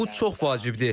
Bu çox vacibdir.